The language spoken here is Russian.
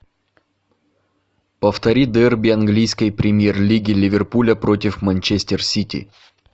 повтори дерби английской премьер лиги ливерпуля против манчестер сити